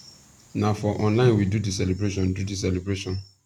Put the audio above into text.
na for online we do di celebration do di celebration